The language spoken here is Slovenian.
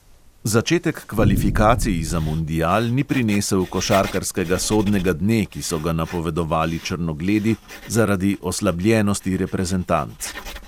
Začetek kvalifikacij za mundial ni prinesel košarkarskega sodnega dne, ki so ga napovedovali črnogledi zaradi oslabljenosti reprezentanc.